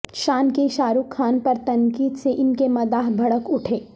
شان کی شاہ رخ خان پر تنقید سے ان کے مداح بھڑک اٹھے